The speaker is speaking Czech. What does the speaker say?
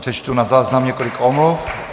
Přečtu na záznam několik omluv.